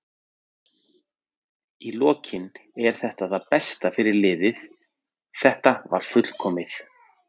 Í lokin er þetta það besta fyrir liðið, þetta var fullkomið.